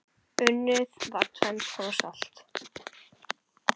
Unnið var tvenns konar salt.